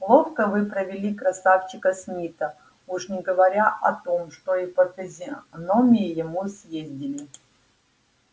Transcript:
ловко вы провели красавчика смита уж не говоря о том что и по физиономии ему съездили